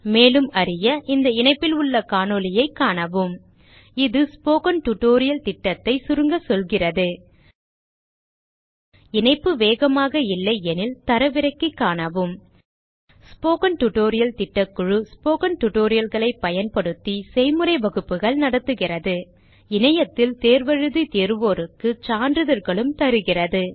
மேலும் அறிய இந்த இணைப்பில் உள்ள காணொளியைக காணவும் 1 இது ஸ்போக்கன் டியூட்டோரியல் திட்டத்தை சுருங்க சொல்கிறது இணைப்பு வேகமாக இல்லையெனில் தரவிறக்கி காணவும் ஸ்போக்கன் டியூட்டோரியல் திட்டக்குழு ஸ்போக்கன் tutorial களைப் பயன்படுத்தி செய்முறை வகுப்புகள் நடத்துகிறது இணையத்தில் தேர்வு எழுதி தேர்வோருக்கு சான்றிதழ்களும் அளிக்கிறது